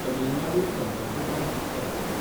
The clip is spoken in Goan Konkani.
तमील नाडू संपर्क क्रांती एक्सप्रॅस